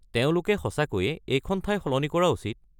তেওঁলোকে সঁচাকৈয়ে এইখন ঠাই সলনি কৰা উচিত।